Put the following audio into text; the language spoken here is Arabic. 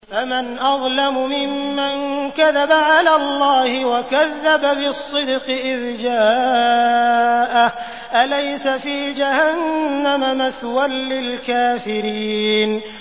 ۞ فَمَنْ أَظْلَمُ مِمَّن كَذَبَ عَلَى اللَّهِ وَكَذَّبَ بِالصِّدْقِ إِذْ جَاءَهُ ۚ أَلَيْسَ فِي جَهَنَّمَ مَثْوًى لِّلْكَافِرِينَ